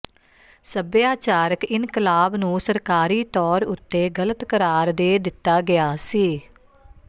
ਸਭਿਆਚਾਰਕ ਇਨਕਲਾਬ ਨੂੰ ਸਰਕਾਰੀ ਤੌਰ ਉਤੇ ਗ਼ਲਤ ਕਰਾਰ ਦੇ ਦਿਤਾ ਗਿਆ ਸੀ